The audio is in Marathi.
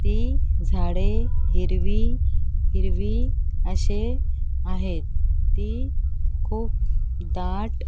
ती झाडे हिरवी हिरवी अशे आहेत ती खूप दाट --